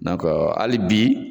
hali bi.